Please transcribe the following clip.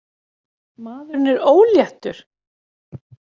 Maðurinn er óléttur!